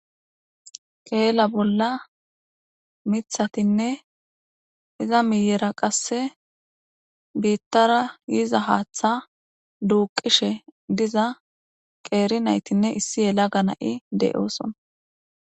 Kela bola mithatinne iza miyera qase bitara yizaz Hatha duqishe diza qer natinne issi yelaga nay de'osona.